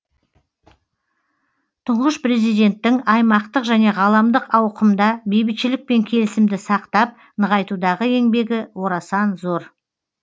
тұңғыш президенттің аймақтық және ғаламдық ауқымда бейбітшілік пен келісімді сақтап нығайтудағы еңбегі орасан зор